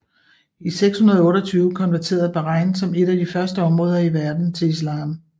I 628 konverterede Bahrain som et af de første områder i verden til islam